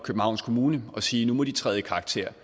københavns kommune og sige at nu må de træde i karakter